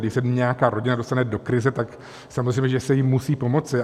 Když se nějaká rodina dostane do krize, tak samozřejmě že se jí musí pomoci.